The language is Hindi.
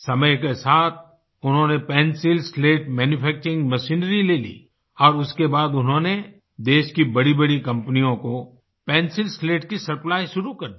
समय के साथ उन्होंने पेंसिल स्लेट मैन्यूफैक्चरिंग मशीनरी ले ली और उसके बाद उन्होंने देश की बड़ीबड़ी कंपनियों को पेंसिल स्लेट की सप्लाई शुरू कर दी